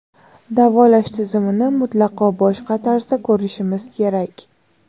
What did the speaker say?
davolash tizimini mutlaqo boshqa tarzda ko‘rishimiz kerak.